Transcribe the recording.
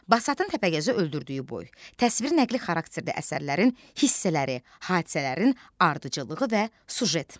Basatın Təpəgözü öldürdüyü boy, təsviri nəqli xarakterli əsərlərin hissələri, hadisələrin ardıcıllığı və süjet.